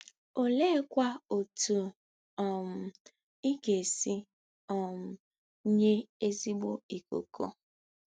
Oleekwa otú um ị ga-esi um nye ezigbo ikuku?